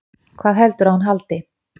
Hvað heldurðu að hún haldi?